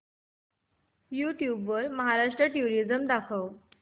YouTube वर Maharashtra tourism दाखव